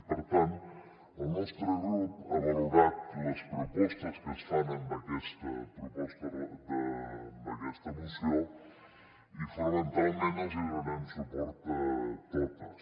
i per tant el nostre grup ha valorat les propostes que es fan amb aquesta moció i fonamentalment els donarem suport a totes